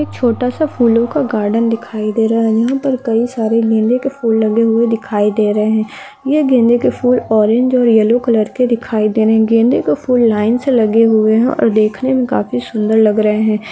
एक छोटा सा फूलों का गार्डन दिखाई दे रहा है। यहाँ पर कई सारे गेंदे के फूल लगे हुवे है। ये गेंदे के फूल ऑरेंज और येलो कलर के दिखाई दे रहे है। गेंदे के फूल लाइन से लगे हुवे है। देखने मे काफी सुंदर लग रहे है।